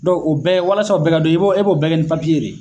o bɛɛ walasa o bɛɛ ka dɔn i b'o e b'o bɛɛ kɛ ni papiye de ye.